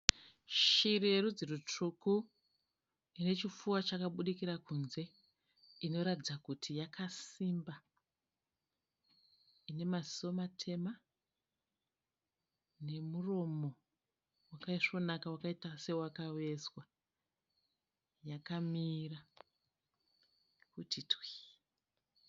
Shiri yerudzi rwutsvuku ine chipfuwa chakabudikira kunze, inoratidza kuti yakasimba. Ine maziso matema nemuromo wakaisvonaka wakaita sewakavezwa, yakamira kuti twii.